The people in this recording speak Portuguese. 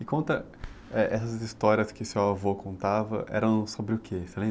Me conta, eh, essas histórias que seu avô contava, eram sobre o que? Você lembra?